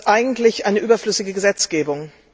Das ist eigentlich eine überflüssige Gesetzgebung.